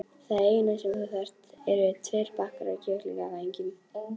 Það eina sem þú þarft eru tveir bakkar af kjúklingavængjum.